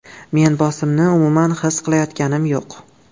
Men bosimni umuman his qilayotganim yo‘q.